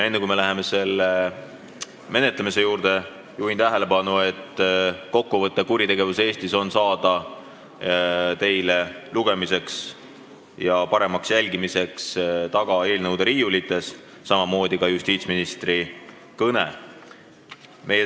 Enne, kui me läheme selle menetlemise juurde, juhin tähelepanu, et kokkuvõtet "Kuritegevus Eestis 2017" saate lugemiseks ja ettekande paremaks jälgimiseks võtta saali tagaosast eelnõude riiulitest, samamoodi on seal ka justiitsministri kõne.